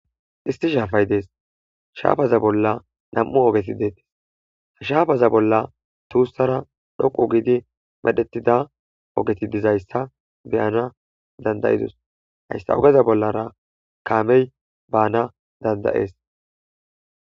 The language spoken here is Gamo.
Isti shaafay dees shaafaza bolla nam7u ogeti deettes ha shaafaza bolla tuussara dhoqu giidi medhetida ogeti dizayssa beyana dandayidus hayssa ogeza bollara kaamey baana dandayees.